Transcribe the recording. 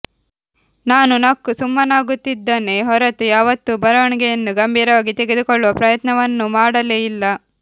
ನಾನು ನಕ್ಕು ಸುಮ್ಮನಾಗುತ್ತಿದ್ದನೆ ಹೊರತು ಯಾವತ್ತೂ ಬರವಣಿಗೆಯನ್ನು ಗಂಭೀರವಾಗಿ ತೆಗೆದುಕೊಳ್ಳುವ ಪ್ರಯತ್ನವನ್ನುಮಾಡಲೇ ಇಲ್ಲ